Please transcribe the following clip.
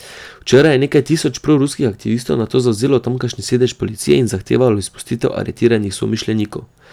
Včeraj je nekaj tisoč proruskih aktivistov nato zavzelo tamkajšnji sedež policije in zahtevalo izpustitev aretiranih somišljenikov.